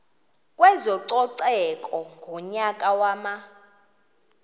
kwezococeko ngonyaka wama